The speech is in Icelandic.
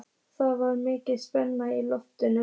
Það var mikil spenna í loftinu.